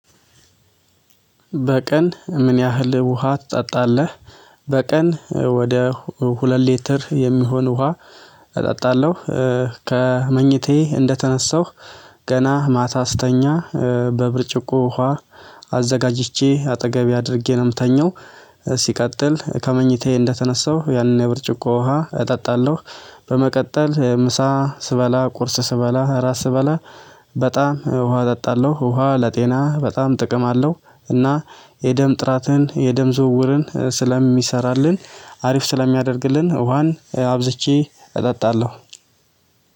በቀን ምን ያህል ውሃ ትጠጣለህ? በቀን ወደ ሁለት ሊትር የሚሆን ውሃ እጠጣለሁ ከመኝታዬ እንደተነሳሁ ገና ማታ ስተኛ በብርጭቆ ውሃ አዘጋጅቼ አጠገቤ አድርጌ ነው የምተኘው። ከመኝታዬ እንደተነሳሁ ያንን የብርጭቆ ውሃ እጠጣለሁ። በመቀጠል ምሳ ስበላ ቁርስ ስበላ እራት ስበላ በጣም ውሃ እጠጣለሁ ውሃ ለጤና በጣም ጥቅም አለው። እና የደም ጥራትን የደም ዝውውርን ስለሚሰራልን አሪፍ ስለሚያደርግልን ውሃን አብዝቼ እጠጣለሁ።